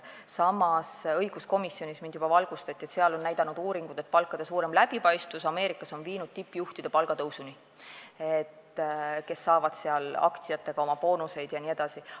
Samas, õiguskomisjonis mind juba valgustati, et uuringud on näidanud, et palkade suurem läbipaistvus Ameerikas on viinud tippjuhtide palgatõusuni, nad saavad seal aktsiatega boonuseid jne.